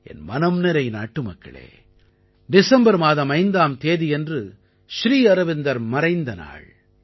என் மனம்நிறை நாட்டுமக்களே டிசம்பர் மாதம் 5ஆம் தேதியன்று ஸ்ரீ அரவிந்தர் மறைந்த நாள்